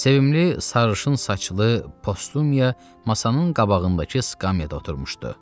Sevimli sarışın saçlı Postumiya masanın qabağındakı skamyada oturmuşdu.